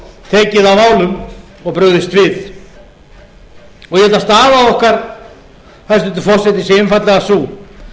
tekið á málum og brugðist við ég held að staða okkar hæstvirtur forseti sé einfaldlega sú